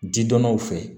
Jidɔnnaw fɛ